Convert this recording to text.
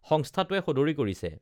সংস্থাটোৱে সদৰী কৰিছে